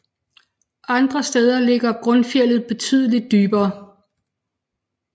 Andre steder ligger grundfjeldet betydeligt dybere